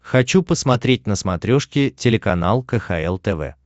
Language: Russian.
хочу посмотреть на смотрешке телеканал кхл тв